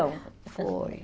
Foi.